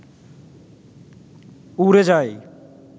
উড়ে যাই